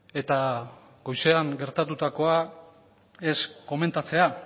eta goizean gertatutakoa ez komentatzea